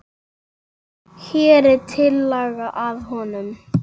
Hér er tillaga að honum.